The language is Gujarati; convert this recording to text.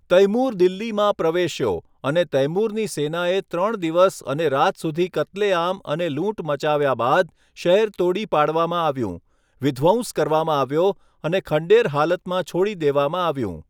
તૈમૂર દિલ્હીમાં પ્રવેશ્યો અને તૈમૂરની સેનાએ ત્રણ દિવસ અને રાત સુધી કત્લેઆમ અને લૂંટ મચાવ્યા બાદ શહેર તોડી પાડવામાં આવ્યું, વિધ્વંસ કરવામાં આવ્યો અને ખંડેર હાલતમાં છોડી દેવામાં આવ્યું.